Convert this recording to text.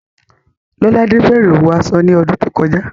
Lọ́ládé bẹ̀rẹ̀ òwò aṣọ ní ọdún tó kọjá